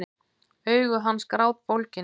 Augu hans grátbólgin.